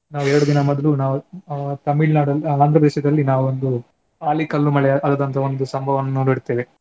ನಾವು ಎರಡು ದಿನ ಮೊದ್ಲು ನಾವು ಆ ತಮಿಳ್ನಾಡು, ಆಂಧ್ರ ಪ್ರದೇಶದಲ್ಲಿ ನಾವೊಂದು ಆಲಿ ಕಲ್ಲು ಮಳೆ ಆದದ್ದಂತಹ ಒಂದು ಸಂಭವವನ್ನು ನೋಡಿರುತ್ತೇವೆ.